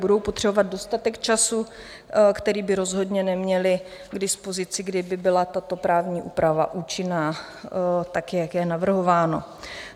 Budou potřebovat dostatek času, který by rozhodně neměly k dispozici, kdyby byla tato právní úprava účinná tak, jak je navrhováno.